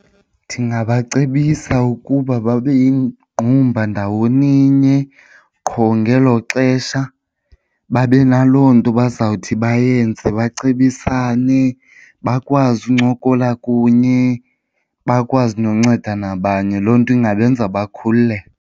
Ndingabacebisa ukuba babe yingqumba ndawoni nye, qho ngelo xesha babe naloo nto bazawuthi bayenze bacebisane, bakwazi ukuncokola kunye bakwazi nonceda nabanye. Loo nto ingabenza bakhululeke.